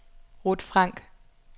Ruth Frank